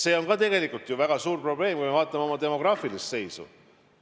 See on ka tegelikult väga suur probleem, kui me vaatame oma demograafilist seisu.